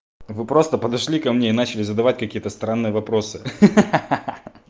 вы просто подошли ко мне и начали задавать какие-то странные вопросы ха-ха-ха